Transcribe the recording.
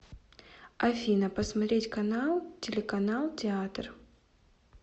афина посмотреть канал телеканал театр